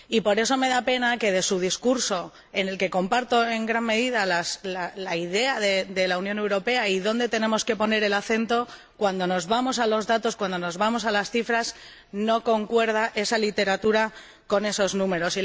Por eso, me da pena que en su discurso —del que comparto en gran medida la idea de la Unión Europea y de dónde tenemos que poner el acento—, cuando nos vamos a los datos, cuando nos vamos a las cifras, no concuerda la literatura con los números.